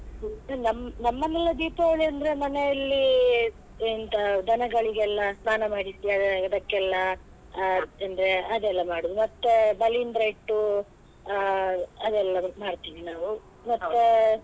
ನಮ್~ ನಮ್ಮಲ್ಲಿ ಎಲ್ಲ ದೀಪಾವಳಿ ಅಂದ್ರೆ ಮನೆಯಲ್ಲಿ ಎಂತ ದನಗಳಿಗೆಲ್ಲ ಸ್ನಾನ ಮಾಡಿಸಿ ಅ~ ಅದಕ್ಕೆಲ್ಲ ಅ ಅಂದ್ರೆ ಅದೆಲ್ಲ ಮಾಡುದು ಮತ್ತೆ ಬಲಿಂದ್ರ ಇಟ್ಟು ಅ ಅದೆಲ್ಲ ಮಾಡ್ತಿವಿ ನಾವು ಮತ್ತೆ.